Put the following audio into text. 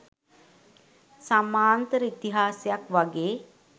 සමාන්තර ඉතිහාසයක් වගේ.